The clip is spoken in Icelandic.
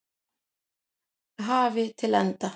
hafi til enda.